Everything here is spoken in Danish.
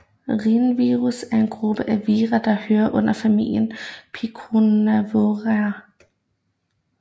Rhinovirus er en gruppe af vira der hører under familien af picornavira